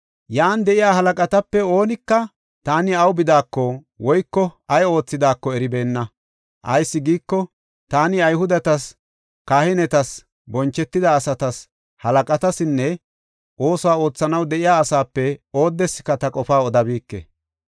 Yan de7iya halaqatape oonika taani awu bidaako, woyko ay oothidaako eribeenna. Ayis giiko, taani Ayhudetas, kahinetas, bonchetida asatas, halaqatasinne oosuwa oothanaw de7iya asaape oodeska ta qofaa odabike.